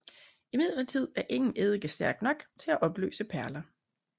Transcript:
Imidlertid er ingen eddike stærk nok til at opløse perler